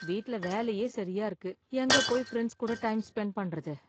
வீட்ல வேலையே சரியா இருக்கு எங்க போய் ஃப்ரெண்ட்ஸ் கூட டைம் ஸ்பென்ட் பண்றது?